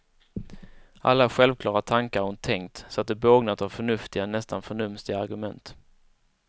Alla självklara tankar hon tänkt så att de bågnat av förnuftiga, nästan förnumstiga argument.